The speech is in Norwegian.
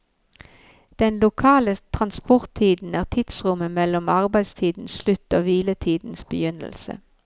Den lokale transporttiden er tidsrommet mellom arbeidstidens slutt og hviletidens begynnelse.